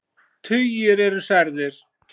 Tugir eru særðir.